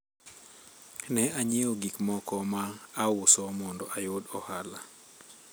ne anyiewo gik moko ma auso mondo ayud ohala